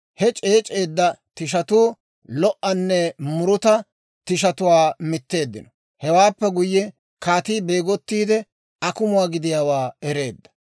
He c'eec'c'eedda tishatuu lo"anne muruta tishatuwaa mitteeddino. Hewaappe guyye kaatii beegottiide, akumuwaa gidiyaawaa ereedda.